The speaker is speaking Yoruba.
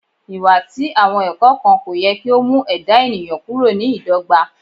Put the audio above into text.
Iwa ti awọn ẹkọ kan ko yẹ ki o mu ẹda eniyan kuro ni idogba